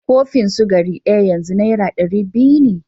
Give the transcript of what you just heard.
Kofin sukari ɗaya yanzu Naira ɗari biyu ne